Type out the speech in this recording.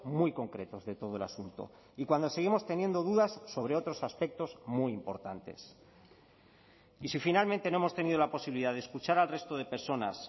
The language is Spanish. muy concretos de todo el asunto y cuando seguimos teniendo dudas sobre otros aspectos muy importantes y si finalmente no hemos tenido la posibilidad de escuchar al resto de personas